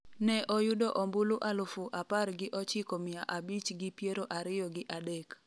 ne oyudo ombulu alufu apar gi ochiko mia abich gi piero ariyo gi adek